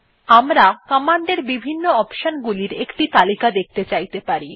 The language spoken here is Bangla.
আমরা কমান্ডের বিভিন্ন অপশন গুলি একটি তালিকা দেখতে চাইতে পারি